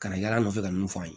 Kana yaala nɔfɛ ka mun fɔ an ye